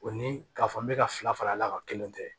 O ni k'a fɔ n bɛ ka fila fara la kelen tɛ